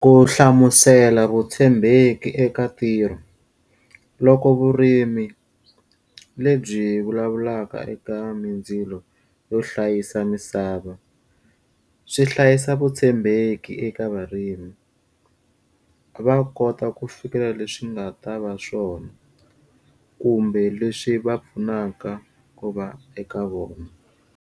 Ku hlamusela vutshembeki eka ntirho. Loko vurimi lebyi vulavulaka eka mindzilo yo hlayisa misava, swi hlayisa vutshembeki eka varimi. Va kota ku fikelela leswi nga ta va swona, kumbe leswi va pfunaka ku va eka vona.